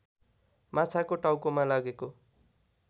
माछाको टाउकोमा लागेको